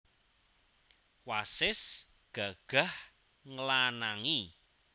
Wasis gagah nglanangi